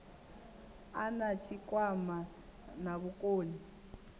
a na tshikwama na vhukoni